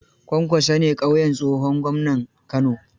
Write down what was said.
Kwankwaso ne ƙauyen tsohon gwamnan Kano